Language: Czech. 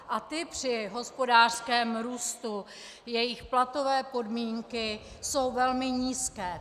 A ti při hospodářském růstu, jejich platové podmínky, jsou velmi nízké.